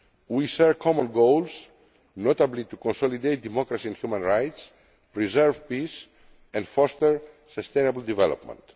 We share common goals, notably to consolidate democracy and human rights, preserve peace and foster sustainable development.